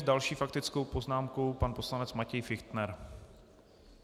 S další faktickou poznámkou pan poslanec Matěj Fichtner.